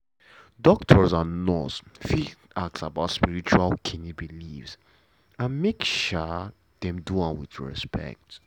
doctor and nurse fit ask about spiritual um beliefs but make um dem do am wit respect.